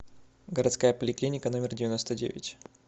городская поликлиника номер девяносто девять